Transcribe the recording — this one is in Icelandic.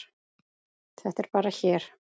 Þetta er bara hér.